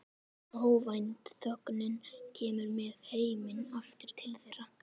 Óvænt þögnin kemur með heiminn aftur til þeirra.